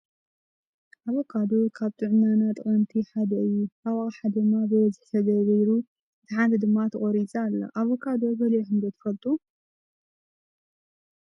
ኣበካዶ ካብ ንጥዕናና ጠቀምቲ ሓደ እዩ ። ኣብ ኣቀሓ ድማ ብበዝሒ ተደርዲሩ እታ ሓንቲ ድማ ተቆሪፃ ኣሎ ። ኣበካዶ በሊዕኩም ትፈልጦ ዶ ?